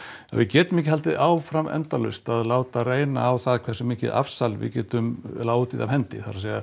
að við getum ekki haldið áfram endalaust að láta reyna á það hversu mikið afsal við getum látið af hendi það er